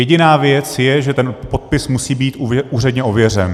Jediná věc je, že ten podpis musí být úředně ověřen.